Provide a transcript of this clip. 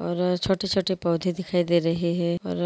और छोटे छोटे पौधे दिखाई दे रहे हैं। और